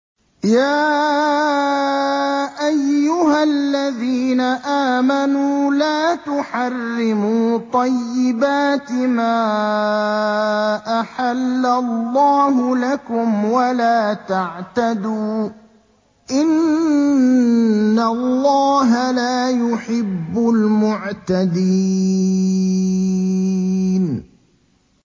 يَا أَيُّهَا الَّذِينَ آمَنُوا لَا تُحَرِّمُوا طَيِّبَاتِ مَا أَحَلَّ اللَّهُ لَكُمْ وَلَا تَعْتَدُوا ۚ إِنَّ اللَّهَ لَا يُحِبُّ الْمُعْتَدِينَ